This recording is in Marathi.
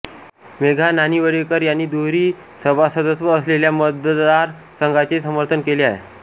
मेधा नानिवडेकर यांनी दुहेरी सभासदत्व असलेल्या मतदार संघाचे समर्थन केले आहे